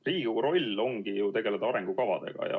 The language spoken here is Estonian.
Riigikogu roll ongi ju tegeleda arengukavadega.